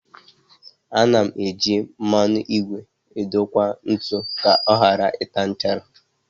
A na eji mmanụ ígwè edokwa ntu ka ọ ghara ịta nchara